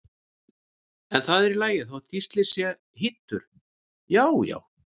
En það er í lagi þótt Gísli sé hýddur, já já!